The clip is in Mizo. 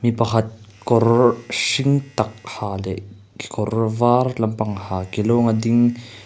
mi pakhat kawr hring tak ha leh kekawr var lampang ha ke lawng a ding--